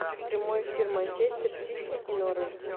прямой эфир манчестер сити и норвич